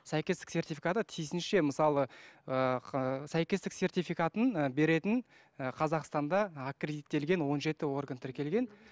сәйкестік сертификаты тиісінше мысалы ыыы сәйкестік сертификатын ы беретін ы қазақстанда аккредиттелген он жеті орган тіркелген